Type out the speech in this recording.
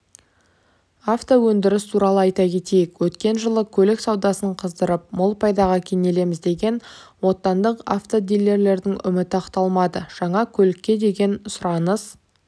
автоөндіріс туралы айта кетейік өткен жылы көлік саудасын қыздырып мол пайдаға кенелеміз деген отандық автодиллерлердің үміті ақталмады жаңа көлікке деген сұраныс